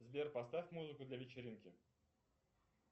сбер поставь музыку для вечеринки